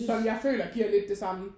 Som jeg føler giver lidt det samme